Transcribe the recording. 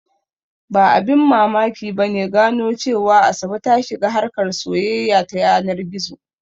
Ba abin mamaki ba ne gano cewa Asabe ta shiga harkar soyayya ta yanar gizo.